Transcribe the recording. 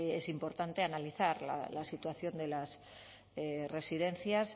es importante analizar la situación de las residencias